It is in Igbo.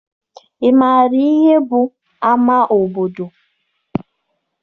Ị maara ihe bụ ama obodo?